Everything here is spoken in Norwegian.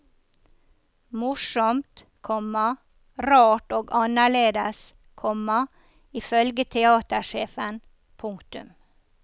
Morsomt, komma rart og annerledes, komma ifølge teatersjefen. punktum